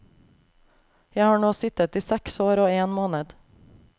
Jeg har nå sittet i seks år og én måned.